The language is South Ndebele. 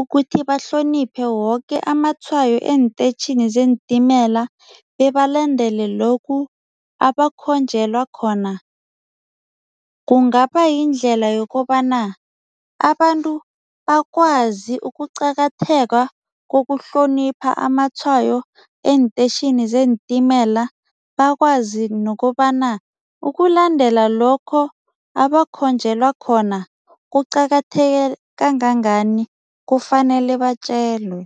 ukuthi bahloniphe woke amatshwayo eenteyitjhini zeentimela bebalandele lokhu abakhonjwelwa khona, kungaba yindlela yokobana abantu bakwazi ukuqakatheka kokuhlonipha amatshwayo eenteyitjhini zeentimela, bakwazi nokobana ukulandela lokho abakhonjwelwa khona kuqakatheke kangangani, kufanele batjelwe.